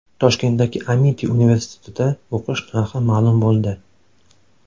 Toshkentdagi Amiti universitetida o‘qish narxi ma’lum bo‘ldi.